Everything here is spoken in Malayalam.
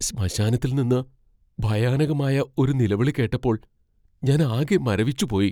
ശ്മശാനത്തിൽ നിന്ന് ഭയാനകമായ ഒരു നിലവിളി കേട്ടപ്പോൾ ഞാനാകെ മരവിച്ചു പോയി .